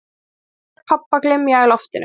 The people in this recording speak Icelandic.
Ég hlusta á rödd pabba glymja í loftinu